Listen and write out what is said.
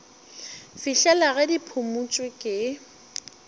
fihlela ge di phumotšwe ke